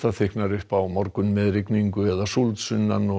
þykknar upp á morgun með rigningu eða súld sunnan og